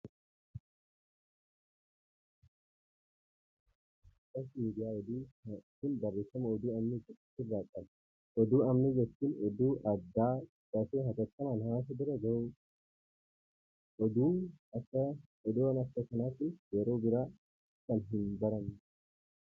Maxxansi kun, maxxansa miidiyaa oduu dha. Maxxansi miidiyaa oduu kun barreeffama oduu ammee jedhu of irraa qaba. Oduu ammee jechuun oduu addaa dafee hatattamaan hawaasa bira gahuu dha. Oduun akka kanaa kun yeroo biraa kan hin baramnee dha.